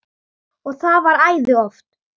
Og það var æði oft.